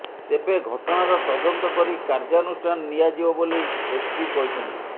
ତେବେ ଘଟଣାର ତଦନ୍ତ କରି କାର୍ଯ୍ୟାନୁଷ୍ଠାନ ନିଆଯିବ ବୋଲି ଏସପି କହିଛନ୍ତି